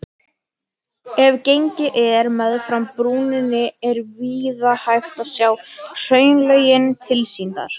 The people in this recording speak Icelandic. Ef gengið er meðfram brúninni er víða hægt að sjá hraunlögin tilsýndar.